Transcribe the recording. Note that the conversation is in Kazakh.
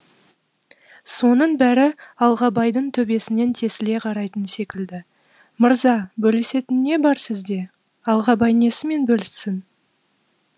соның бәрі алғабайдың төбесінен тесіле қарайтын секілді мырза бөлісетін не бар сізде алғабай несімен бөліссін